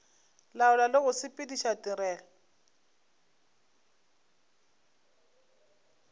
laola le go sepediša tirelo